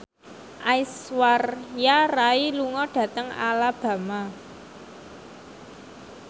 Aishwarya Rai lunga dhateng Alabama